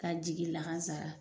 K'a jigi lahasara